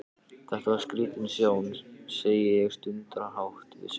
Þetta var skrítin sjón, segi ég stundarhátt við sjálfa mig.